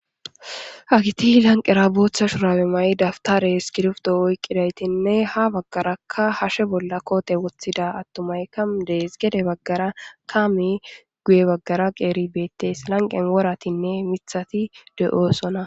Hageti lanqeera bootha shurabe mayida dawutare isikrto oykidaytiine ha bagaraka hashe bolla koote wothida atumayka de'es, lanqen woratinne mithati de'osona